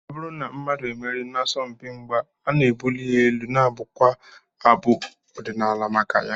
Ọ bụrụ na mmadụ emerie n'asọmpi mgba, a na-ebuli ya elu, a na-abụkwa abụ ọdịnala maka ya.